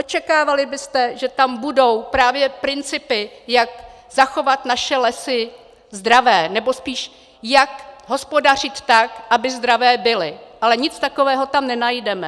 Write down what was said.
Očekávali byste, že tam budou právě principy, jak zachovat naše lesy zdravé, nebo spíš jak hospodařit tak, aby zdravé byly, ale nic takového tam nenajdeme.